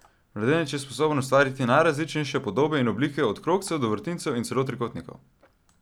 Mladenič je sposoben ustvariti najrazličnejše podobe in oblike od krogcev do vrtincev in celo trikotnikov.